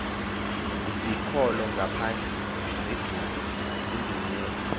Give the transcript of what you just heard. zikolo ngaphandle sidunyelwe